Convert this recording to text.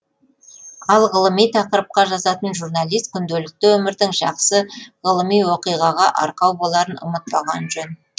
ал ғылыми тақырыпқа жазатын журналист күнделікті өмірдің жақсы ғылыми оқиғаға арқау боларын ұмытпағаны жөн